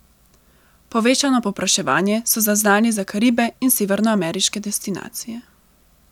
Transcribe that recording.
Povečano povpraševanje so zaznali za Karibe in severnoameriške destinacije.